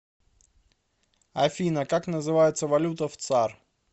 афина как называется валюта в цар